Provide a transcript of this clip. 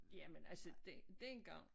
Jamen altså den dengang